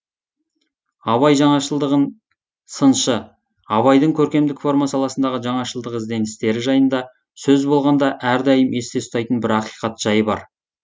абай жаңашылдығын сыншы абайдың көркемдік форма саласындағы жаңашылдық ізденістері жайында сөз болғанда әрдайым есте ұстайтын бір ақиқат жай бар